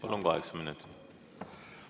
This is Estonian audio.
Palun, kokku kaheksa minutit!